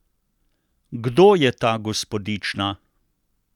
Kdo je ta gospodična?